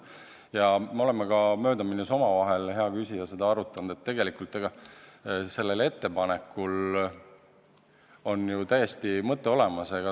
Ja me oleme ka möödaminnes omavahel, hea küsija, seda arutanud, et tegelikult sellel ettepanekul on ju täiesti mõte olemas.